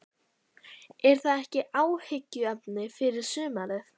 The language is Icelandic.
Er það ekki áhyggjuefni fyrir sumarið?